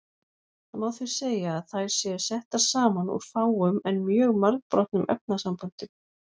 Það má því segja að þær séu settar saman úr fáum en mjög margbrotnum efnasamböndum.